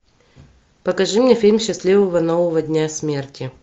покажи мне фильм счастливого нового дня смерти